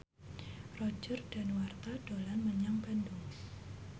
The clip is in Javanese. Roger Danuarta dolan menyang Bandung